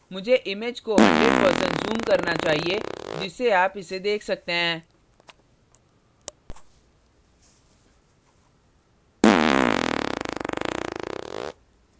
मुझे image को 100% zoom करना चाहिए जिससे आप इसे देख सकते हैं